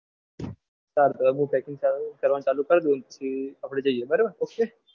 કાલથી હું packing કરવાની ચાલુ કરી દઉં પછી આપણે જઈએ બરાબર ok?